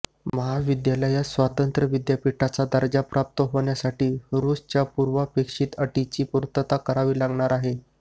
महाविद्यालयास स्वतंत्र विद्यापीठाचा दर्जा प्राप्त होण्यासाठी रुसाच्या पूर्वापेक्षित अटीची पूर्तता करावी लागणार आहे